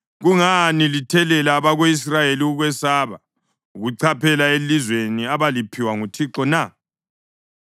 Kungani lithelela abako-Israyeli ukwesaba ukuchaphela elizweni abaliphiwa nguThixo na?